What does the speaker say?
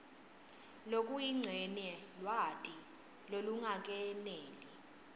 lokuyincenye lwati lolungakeneli